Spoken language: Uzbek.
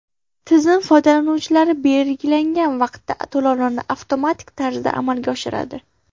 Tizim foydalanuvchi belgilagan vaqtda to‘lovlarni avtomatik tarzda amalga oshiradi.